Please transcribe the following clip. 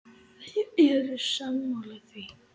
Þeir eru sammála því.